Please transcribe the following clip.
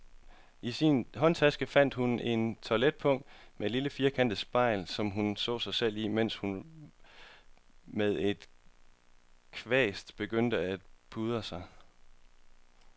I sin håndtaske fandt hun et toiletpung med et firkantet spejl, som hun så sig i, mens hun med en kvast begyndte at pudre sig.